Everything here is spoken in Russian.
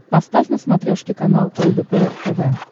поставь на смотрешке канал лдпр тв